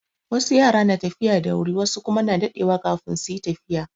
Wasu yara na tafiya da wuri wasu kuma na daɗewa kafin su yi tafiya.